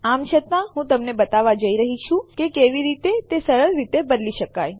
આમ છતાં હું તમને બતાવવા જઈ રહી છું કે કેવી રીતે તે સરળ રીતે બદલી શકાય